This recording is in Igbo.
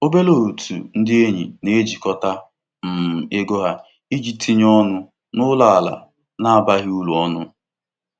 òtù ego ụlọ akwụkwọ kọleji obodo haziri otu ntinye ego nchịkọta iji megharịa pọtụfoliyo dị iche iche.